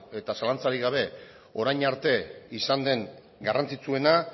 eta zalantzarik gabe orain arte izan den garrantzitsuena